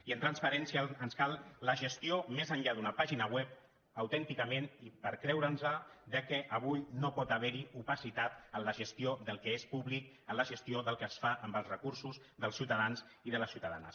i en transparència ens cal la gestió més enllà d’una pàgina web autènticament i per creure’ns la que avui no pot haver hi opacitat en la gestió del que és públic en la gestió del que es fa amb els recursos dels ciutadans i de les ciutadanes